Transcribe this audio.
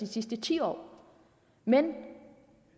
de sidste ti år men